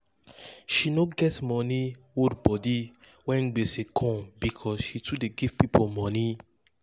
um she no get money hold body when gbege um come because um she too dey give people money